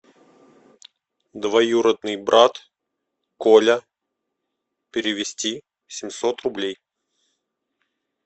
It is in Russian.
двоюродный брат коля перевести семьсот рублей